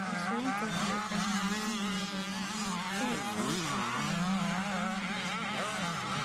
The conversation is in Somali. Bulshooyinka waxay u baahan yihiin inay u midoobaan sidii ay isaga kaashan lahaayeen arrimaha beeraha.